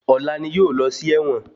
Ọ̀la ni yóò lọ sí ẹ̀wọ̀n.